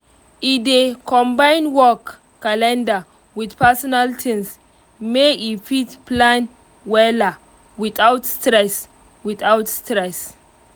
e dey combine work calender with personal things make e fit plan wella without stress without stress